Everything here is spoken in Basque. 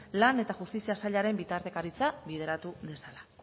lan eta justizia sailaren bitartekaritza lideratu dezala